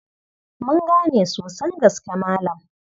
Mun gane sosan gaske Malam.